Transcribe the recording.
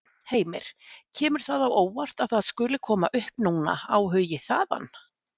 Heimir: Kemur það á óvart að það skuli koma upp núna, áhugi þaðan?